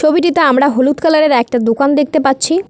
ছবিটিতে আমরা হলুদ কালারের একটা দোকান দেখতে পাচ্ছি।